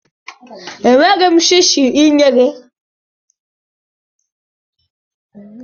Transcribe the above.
Enweghị m shishi inye gị.